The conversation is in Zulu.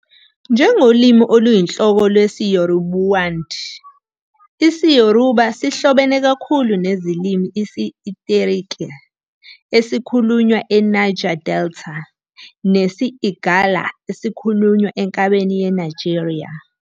Njengolimi oluyinhloko lwesiYoruboid, isiYoruba sihlobene kakhulu nezilimi isi- Itsekiri, esikhulunywa eNiger Delta, nesi- Igala, esikhulunywa enkabeni yeNigeria.